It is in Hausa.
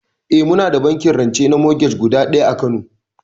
Eh muna da bankin rance na morgej guda ɗaya a kano